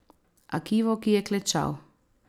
Akivo, ki je klečal.